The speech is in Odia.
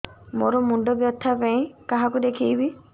ମୋର ମୁଣ୍ଡ ବ୍ୟଥା ପାଇଁ କାହାକୁ ଦେଖେଇବି